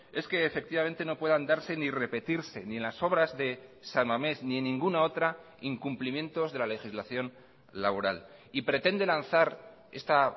es que efectivamente no puedan darse ni repetirse ni en las obras de san mames ni en ninguna otra incumplimientos de la legislación laboral y pretenden lanzar esta